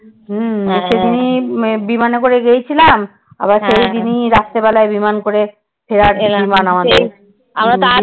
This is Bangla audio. হম সেদিনই বিমানে করে গিয়েছিলাম আবার সেদিনই রাতের বেলায় বিমান করে ফেরার বিমান আমাদের।